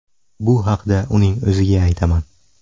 Bu haqda uning o‘ziga aytaman.